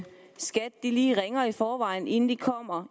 skat lige ringer i forvejen inden de